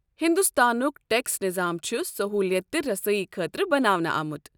ہندوستانُک ٹٮ۪کس نظام چھُ سہوٗلیت تہٕ رسٲیی خٲطرٕ بناونہٕ آمُت۔